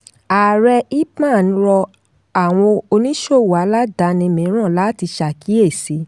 ààrẹ ipman rọ àwọn oníṣòwò aládàáni mìíràn láti ṣàkíyèsí.